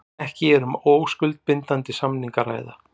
Ekki um óskuldbindandi samning að ræða